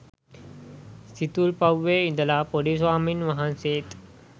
සිතුල්පව්වේ ඉඳලා පොඩි ස්වාමීන් වහන්සේත්